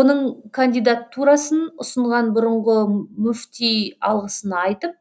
оның кандидатурасын ұсынған бұрынғы мүфти алғысын айтып